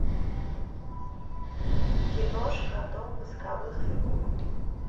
киношка дом восковых фигур